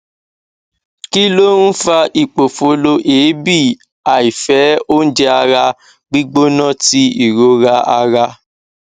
kí ló ń fa ipofolo eebì àìfẹ oúnjẹ ara gbigbona ti ìrora ara